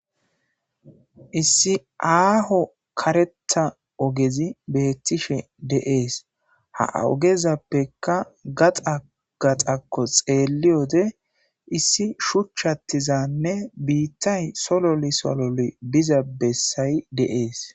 Issi aaho kareta ogezi beettishe deees ha ogezappeka gaxa gaxakko xeelli wode issi shuchchattizanne biittay sololi solole biza bessayi deees.